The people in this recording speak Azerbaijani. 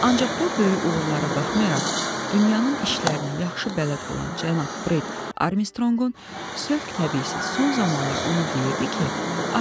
Ancaq bu böyük uğurlara baxmayaraq, dünyanın işlərinə yaxşı bələd olan cənab Bred Armstronqun sövq-təbii son zamanlar ona deyirdi ki,